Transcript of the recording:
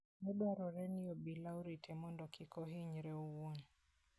Ne dwarore ni obila orite mondo kik ohinyre owuon.